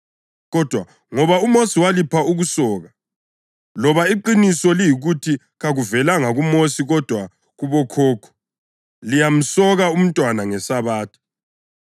Kodwa ngoba uMosi walipha ukusoka (loba iqiniso liyikuthi kakuvelanga kuMosi kodwa kubokhokho), liyamsoka umntwana ngeSabatha.